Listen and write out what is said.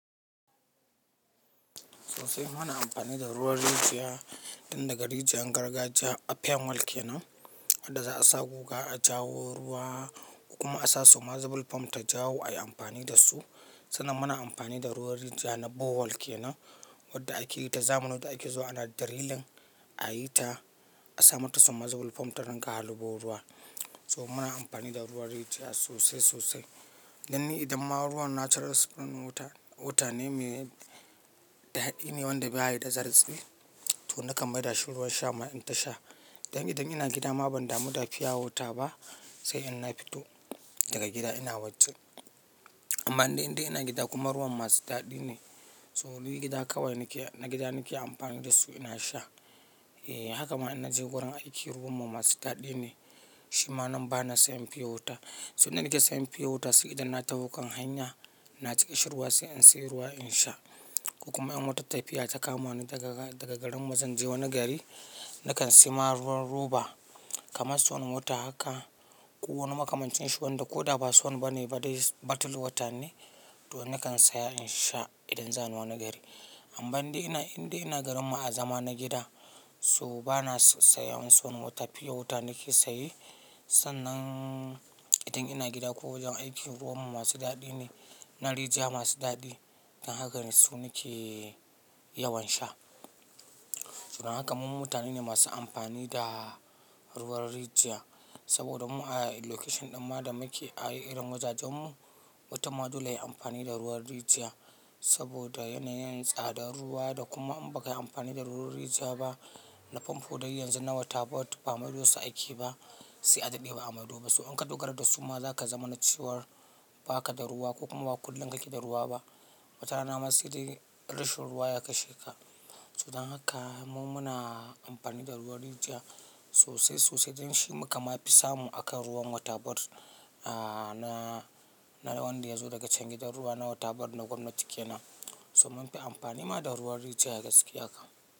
Sosai muna amfani da ruwan rijiya, tun daga rijiyar gargajiya a fenwal kenan wanda za'a samo guga a jawo ruwa kuma a sa soluble form ta jawo ayi amfani da su. Sannan muna amfani da ruwan rijiya na bowal kenan wanda akeyi ta zamani da ake zuwa ana diriling ayi ta a sami ta soluble form ta dinga harbo ruwa. So muna amfani da ruwan rijiya sosai sosai. Dan ni idan ma ruwan natural spring water wuta ne me daɗi ne wanda baya da zartsi, to nakan maida shi ruwan sha ma in ta sha. Dan idan ina gida ma ban damu da fiya wota ba sai in na fito daga gida ina wajen. Amma inda ina gida kuma ruwan masu daɗi ne, so nina gida kawai nakeamfani da su ina sha. Eh haka ma in naje wurin aiki ruwan mu masu daɗi ne, shi ma nan bana saya fiya wota. So ina nake sayan fiya wota sai idan na taho kan hanya na ji ƙashir ruwa sai in sayi ruwa in sha. Kuma in wata tafiya ta kama ni daga, daga garin mu zan je wani gari, nakan siyo ma ruwan roba kamar swan water haka ko wani makamancin shi wanda ko da ba swann bane ba dai batul water ne to nakan saya in sha idan za ni wani gari. Amma inda ina garin mu a zaman na gida so bana saya wani swan wata, fiyo wata nake saye. Sannan idan ina gida ko wajen aiki ruwan mu masu daɗi ne, na rijiya masu daɗi. Dan haka ne su nake yawan sha. So dan haka mu mutane ne masu amfani da ruwan rijiya saboda mu a location din ma da muke a irin wajajen mu mutum ma dole yayi amfani da ruwan rijiya saboda yanayin tsadar ruwa da kuma in ba ka yi amfani da ruwan rijiya ba na famfo dai yanzu na water bottle, ba maido su ake ba sai adaɗe ba'a maido ba so in ka dogara da su ma zaka zama na cewar baka da ruwa ko kuma ba kullum kake da ruwa ba. Wata rana ma sai dai rashin ruwa ya kashe ka. So dan haka mu muna amfani da ruwan rijiya sosai sosai dan shi makama fi samu akan ruwan water board a na, na wanda yazo daga can gidan ruwa na water board na gwamnati kenan. So mun fi amfani ma da ruwan rijiya gaskiya kam.